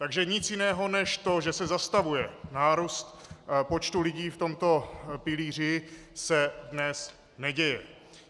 Takže nic jiného než to, že se zastavuje nárůst počtu lidí v tomto pilíři, se dnes neděje.